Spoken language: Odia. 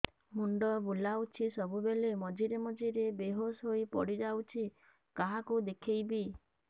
ମୁଣ୍ଡ ବୁଲାଉଛି ସବୁବେଳେ ମଝିରେ ମଝିରେ ବେହୋସ ହେଇ ପଡିଯାଉଛି କାହାକୁ ଦେଖେଇବି